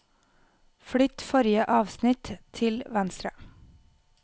Flytt forrige avsnitt til venstre